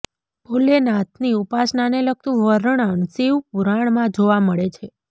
ભોલેનાથની ઉપાસનાને લગતું વર્ણન શિવ પુરાણમાં જોવા મળે છે